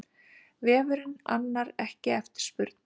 Vefurinn annar ekki eftirspurn